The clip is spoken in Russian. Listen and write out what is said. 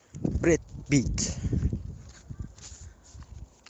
брэд питт